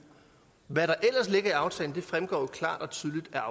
hvad der ellers ligger i aftalen fremgår klart